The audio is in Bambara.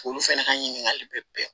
Olu fɛnɛ ka ɲininkali bɛ bɛn